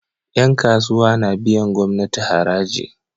Yan kasuwa na biyan gamnati haraji